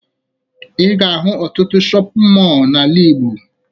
Ị ga-ahụ ọtụtụ shọpịn mọọ n'ala Igbo